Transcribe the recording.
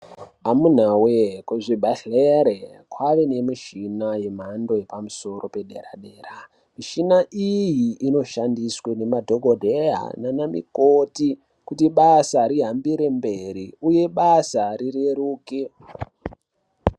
Amunaa woyee kuzvibhendlera kwaane nemichina yemhando yepamusoro padera dera. Michina iyi inoshandiswa ngemadhokodheya nanamukoti kuti basa rihambire mberi uye basa rireruke.